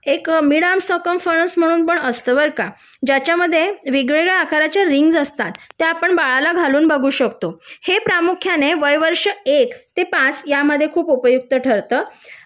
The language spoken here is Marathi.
एक मिडआर्म सरकम फोरस पण असतं बर का त्याच्यामध्ये वेगवेगळ्या आकाराच्या रिंग्ज असतात आपण बाळाला घालून बघू शकतो हे प्रामुख्याने वय वर्ष एक ते पाच यामध्ये खूप उपयुक्त ठरत